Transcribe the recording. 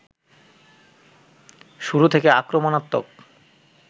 শুরু থেকে আক্রমণাত্মক